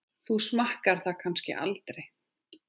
Þú smakkar það kannski aldrei?